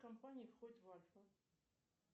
компания входит в альфа